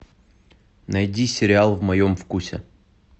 найди сериал в моем вкусе